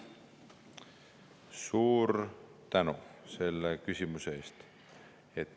Suur tänu selle küsimuse eest!